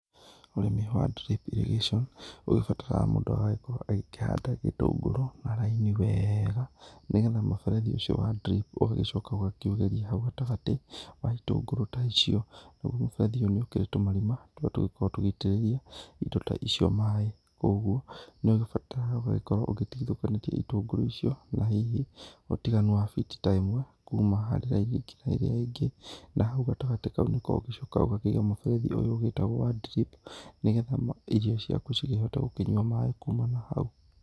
Ũrĩmi wa dripirrigation, ũgĩbatarga mũndũ agagĩkorwo agĩkĩhanda gĩtũngũrũ na raini wega, nĩgetha mũberethi ũcio wa drip ũgagĩcoka ũgakĩũgeria hau gatagatĩ wa itũngũrũ ta icio. Naguo mũberethi ũyũ nĩũkĩrĩ tũmarima, tũrĩa tũgĩkoragwo tũgĩitĩrĩria indo ta icio maĩ. Koguo nĩũgĩbataraga ũgagĩkorwo ũgĩtigĩthũkanĩtie ĩtũngũrũ icio na hihi ũtiganu wa biti ta ĩmwe kuuma harĩ raini nginya ĩrĩa ĩngĩ. Na hau gatagatĩ kau, nĩko ũgĩcokaga ũgakĩiga mũberethi ũyũ ũgĩtagwo wa drip, nĩgetha irio ciaku cigĩhote gũkĩnyua maĩ kuuma na hau.